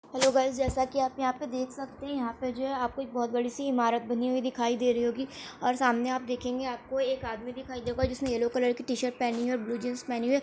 Hello guys जैसा की आप यहां पे देख सकते है यहां पे जो है आपको एक बहुत बड़ी सी इमारत बनी हुई दिखाई दे रही होगी और सामने आप देखेंगे आपको एक आदमी दिखाई देगा जिसने यैलो कलर की टीशर्ट पहनी है ब्लू जींस पहनी है ।